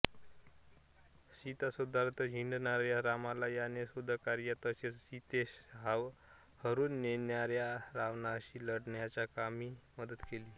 सीताशोधार्ध हिंडणाऱ्या रामाला याने शोधकार्यात तसेच सीतेस हरून नेणाऱ्यारावणाशी लढण्याच्या कामी मदत केली